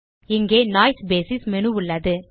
இங்கே noise basis menu உள்ளது